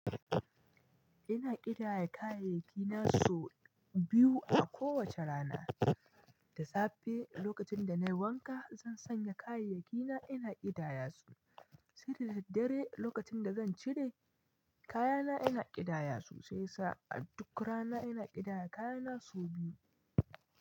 Ina ƙidaya kayayyaki na sau biyu a kowace rana. Da safe lokacin da nayi wanka, zan sanya kayayyaki na ina ƙidaya su. Sai da daddare lokacin da zan cire kayana ina ƙidaya su. Sai sa a duk rana ina ƙidaya kayana sau biyu.